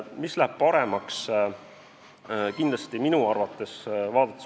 Mis läheb paremaks?